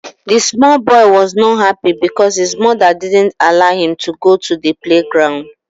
The small boy was not happy because his mother didn't allow him to go to the playground